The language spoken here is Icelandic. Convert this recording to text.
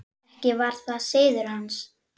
Ekki var það siður hans.